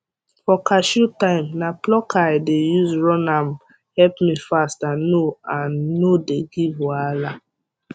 for cashew time na plucker i dey use run ame help me fast and no and no dey give wahala